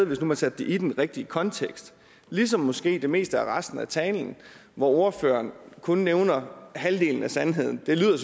hvis man satte det i den rigtige kontekst ligesom i måske det meste af resten af talen hvor ordføreren kun nævner halvdelen af sandheden det lyder